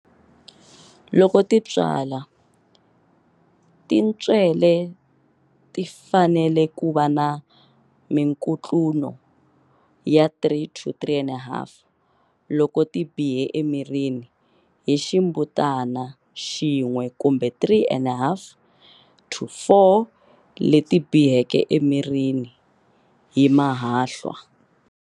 Loko ti tswala, tintswele ti fanele ku va na minkutluno ya 3-3 and a half loko ti bihe emirini hi ximbutana xin'we kumbe 3 and a half-4 leti biheke emirii hi mahahlwa.